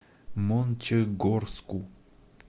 мончегорску